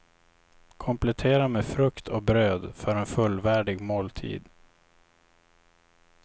Komplettera med frukt och bröd, för en fullvärdig måltid.